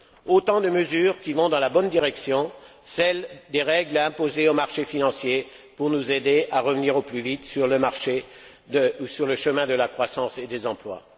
Autant de mesures qui vont dans la bonne direction, celle des règles à imposer aux marchés financiers pour nous aider à revenir au plus vite sur le chemin de la croissance et des emplois.